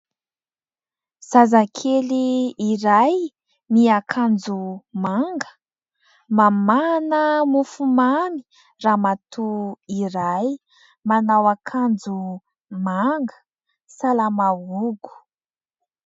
Zazakely iray miakanjo manga, mamahana mofomamy Ramatoa iray manao akanjo manga salamahogo.